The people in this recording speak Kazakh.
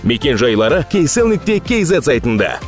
мекен жайлары кейсел нүкте кз сайтында